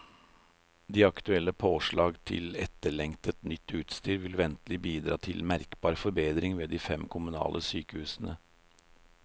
De aktuelle påslag til etterlengtet, nytt utstyr vil ventelig bidra til merkbar forbedring ved de fem kommunale sykehusene.